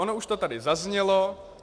Ono už to tady zaznělo.